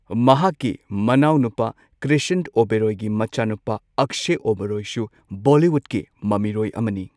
ꯃꯍꯥꯛꯀꯤ ꯃꯅꯥꯎ ꯅꯨꯄꯥ ꯀ꯭ꯔ꯭ꯤꯁꯟ ꯑꯣꯕꯦꯔꯣꯏꯒꯤ ꯃꯆꯥꯅꯨꯄꯥ ꯑꯛꯁꯦ ꯑꯣꯕꯦꯔꯣꯏꯁꯨ ꯕꯣꯂꯤꯋꯨꯠꯀꯤ ꯃꯃꯤꯔꯣꯏ ꯑꯃꯅꯤ꯫